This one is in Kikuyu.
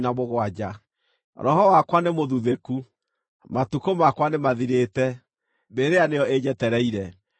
Roho wakwa nĩmũthuthĩku, matukũ makwa nĩmathirĩte, mbĩrĩra nĩyo ĩnjetereire.